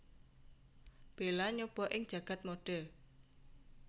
Bella nyoba ing jagad modé